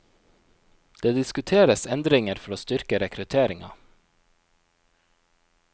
Det diskuteres endringer for å styrke rekrutteringa.